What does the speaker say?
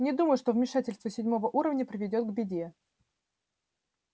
не думаю что вмешательство седьмого уровня приведёт к беде